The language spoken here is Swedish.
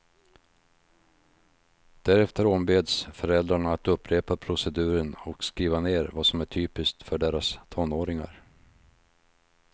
Därefter ombeds föräldrarna att upprepa proceduren och skriva ner vad som är typiskt för deras tonåringar.